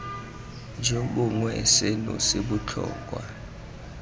jo bongwe seno se botlhokwa